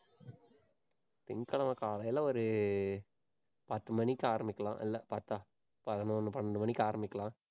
திங்கட்கிழமை காலையில ஒரு, பத்து மணிக்கு ஆரம்பிக்கலாம். இல்ல பத்தா பதினொண்ணு, பன்னெண்டு மணிக்கு ஆரம்பிக்கலாம்.